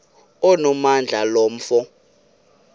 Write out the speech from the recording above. onamandla lo mfo